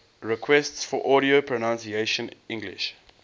requests for audio pronunciation english